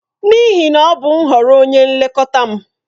N'ihi na ọ bụ nhọrọ onye nlekọta m.